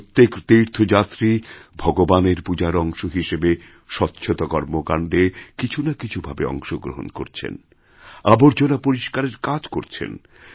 প্রত্যেক তীর্থযাত্রী ভগবানের পূজার অংশ হিসেবে স্বচ্ছতা কর্মকাণ্ডেকিছু না কিছু ভাবে অংশগ্রহণ করছেন আবর্জনা পরিষ্কারের কাজ করছেন